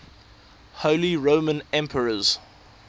holy roman emperors